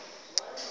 apho umawethu lo